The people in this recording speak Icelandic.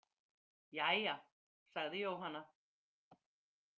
Jæja, sagði Jóhanna.